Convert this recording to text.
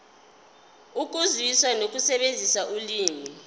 ukuzwisisa nokusebenzisa ulimi